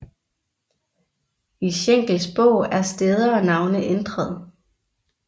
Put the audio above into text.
I Schenkels bog er steder og navne ændret